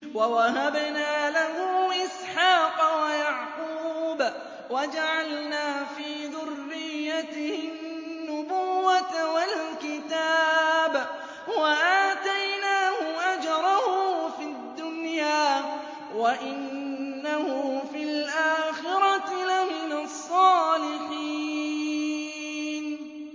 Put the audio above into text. وَوَهَبْنَا لَهُ إِسْحَاقَ وَيَعْقُوبَ وَجَعَلْنَا فِي ذُرِّيَّتِهِ النُّبُوَّةَ وَالْكِتَابَ وَآتَيْنَاهُ أَجْرَهُ فِي الدُّنْيَا ۖ وَإِنَّهُ فِي الْآخِرَةِ لَمِنَ الصَّالِحِينَ